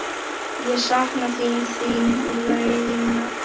Ég sakna þín, þín Regína.